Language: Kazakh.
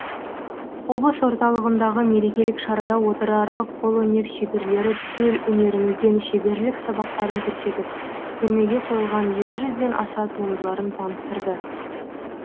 облыс орталығындағы мерекелік шарада отырарлық қолөнер шеберлері төл өнерімізден шеберлік сабақтарын көрсетіп көрмеге қойылған екі жүзден аса туындыларын таныстырды